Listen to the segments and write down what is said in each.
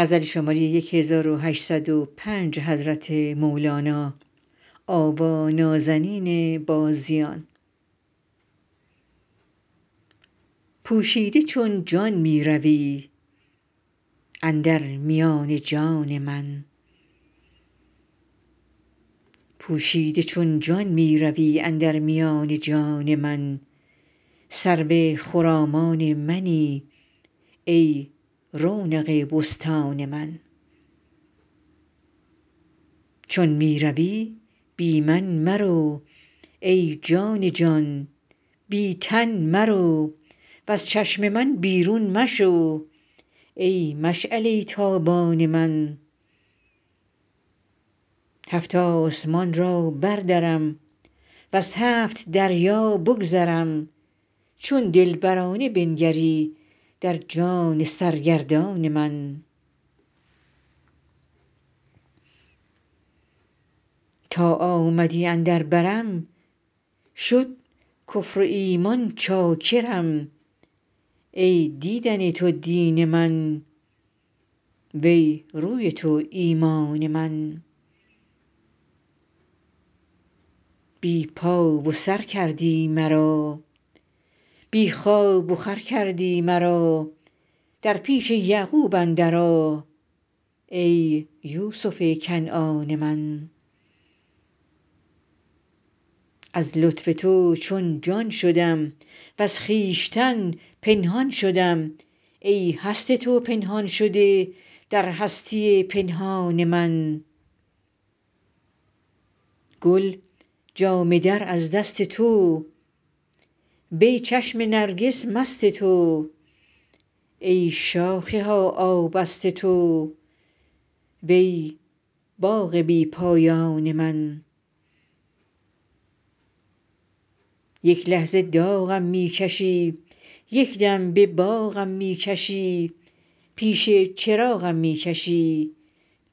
پوشیده چون جان می روی اندر میان جان من سرو خرامان منی ای رونق بستان من چون می روی بی من مرو ای جان جان بی تن مرو وز چشم من بیرون مشو ای مشعله ی تابان من هفت آسمان را بردرم وز هفت دریا بگذرم چون دلبرانه بنگری در جان سرگردان من تا آمدی اندر برم شد کفر و ایمان چاکرم ای دیدن تو دین من وی روی تو ایمان من بی پا و سر کردی مرا بی خواب و خور کردی مرا در پیش یعقوب اندر آ ای یوسف کنعان من از لطف تو چون جان شدم وز خویش تن پنهان شدم ای هست تو پنهان شده در هستی پنهان من گل جامه در از دست تو وی چشم نرگس مست تو ای شاخه ها آبست تو وی باغ بی پایان من یک لحظه داغم می کشی یک دم به باغم می کشی پیش چراغم می کشی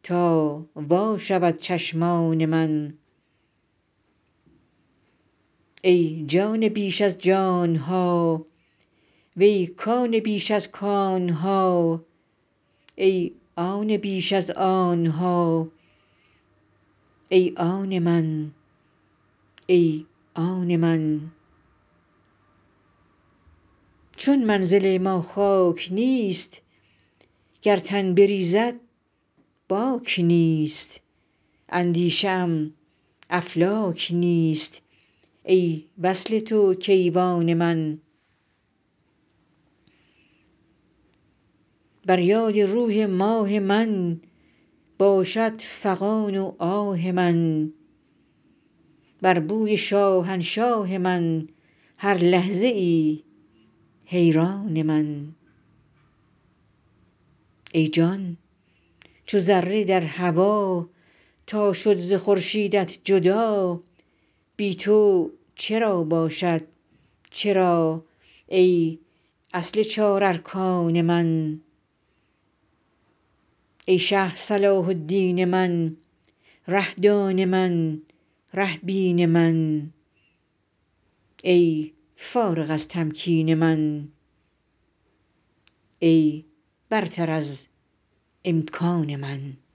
تا وا شود چشمان من ای جان پیش از جان ها وی کان پیش از کان ها ای آن بیش از آن ها ای آن من ای آن من چون منزل ما خاک نیست گر تن بریزد باک نیست اندیشه ام افلاک نیست ای وصل تو کیوان من بر یاد روی ماه من باشد فغان و آه من بر بوی شاهنشاه من هر لحظه ای حیران من ای جان چو ذره در هوا تا شد ز خورشیدت جدا بی تو چرا باشد چرا ای اصل چارارکان من ای شه صلاح الدین من ره دان من ره بین من ای فارغ از تمکین من ای برتر از امکان من